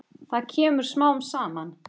Það kemur smám saman.